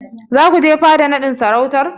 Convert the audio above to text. Za ku je fada naɗin sarautar?